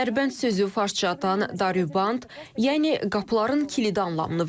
Dərbənd sözü farscadan daruband, yəni qapıların kilidi anlamını verir.